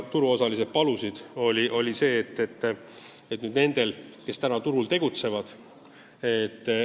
Turuosalistel oli veel üks palve.